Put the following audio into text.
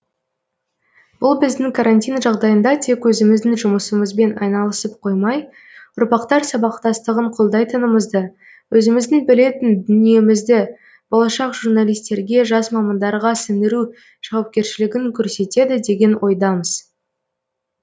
бұл біздің карантин жағдайында тек өзіміздің жұмысымызбен айналысып қоймай ұрпақтар сабақтастығын қолдайтынымызды өзіміздің білетін дүниемізді болашақ журналистерге жас мамандарға сіңіру жауапкершілігін көрсетеді деген ойдамыз